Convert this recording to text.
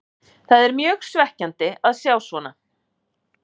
Það er mjög svekkjandi að sjá svona.